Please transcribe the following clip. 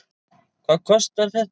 Hvað kostar þetta?